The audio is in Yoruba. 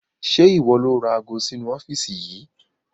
Ṣé ìwọ ni ó ra ago sì inu ọ́fíìsì yìí?